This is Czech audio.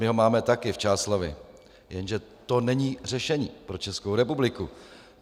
My ho máme taky - v Čáslavi, jenže to není řešení pro Českou republiku.